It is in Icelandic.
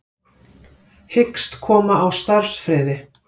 Hyggst koma á starfsfriði